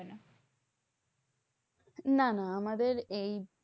না না আমাদের এই